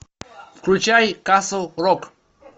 включай касл рок